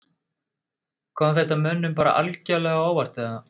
Kom þetta mönnum bara algjörlega á óvart eða?